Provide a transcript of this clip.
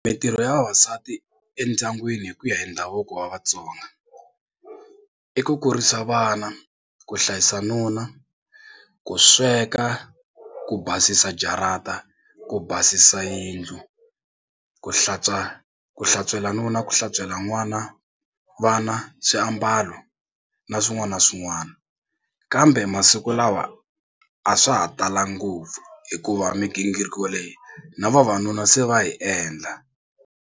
Mitirho ya vavasati endyangwini hi ku ya hi ndhavuko wa vatsonga i ku kurisa vana, ku hlayisa nuna, ku sweka, ku basisa jarata, ku basisa yindlu, ku hlantswa ku hlantswela nuna, ku hlantswela n'wana vana swiambalo na swin'wana na swin'wana kambe masiku lawa a swa ha talanga ngopfu hikuva migingiriko leyi na vavanuna se va yi endla.